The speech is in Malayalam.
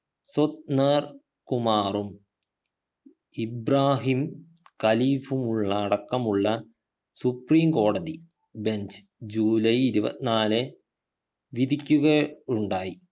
സു ന്നർ കുമാറും ഇബ്രാഹിം ഖലീഫുമുള്ള അടക്കമുള്ള സുപ്രീംകോടതി bench ജൂലൈ ഇരുപത്തിനാലെ വിധിക്കുക ഉണ്ടായി